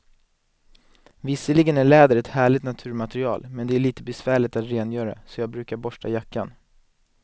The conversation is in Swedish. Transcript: Visserligen är läder ett härligt naturmaterial, men det är lite besvärligt att rengöra, så jag brukar borsta jackan.